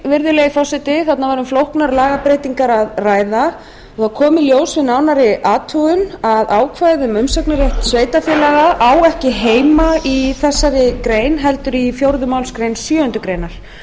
virðulegi forseti þarna var um flóknar lagabreytingar að ræða og það kom í ljós við nánari athugun að ákvæðið um umsagnarrétt sveitarfélaga á ekki heima í þessari grein heldur í fjórðu málsgrein sjöundu greinar